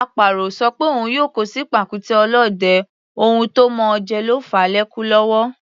Àparò ò sọ pé òun yóò kó sí pàkúté ọ̀lọ́dẹ, ohun tó mọ̀ọ́ jẹ ló fàá lékú lọ́wọ́.